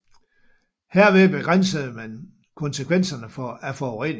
Herved begrænsede man konsekvenserne af forureningen